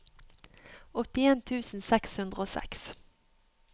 åttien tusen seks hundre og seks